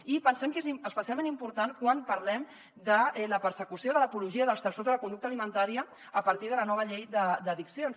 i pensem que és especialment important quan parlem de la persecució de l’apologia dels trastorns de la conducta alimentària a partir de la nova llei d’addiccions